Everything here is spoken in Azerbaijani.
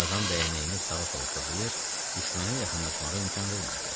Tarzan dəyənəyini sağa-sola fırlayır, düşmənə yaxınlaşmağa imkan vermirdi.